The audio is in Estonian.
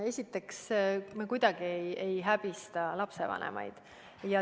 Esiteks, me kuidagi ei häbista lapsevanemaid.